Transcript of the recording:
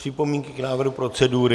Připomínky k návrhu procedury?